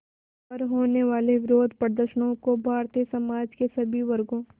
पर होने वाले विरोधप्रदर्शनों को भारतीय समाज के सभी वर्गों